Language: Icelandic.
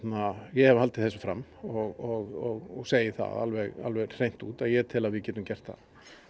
hef haldið þessu fram og segi það alveg alveg hreint út að ég tel að við gætum gert það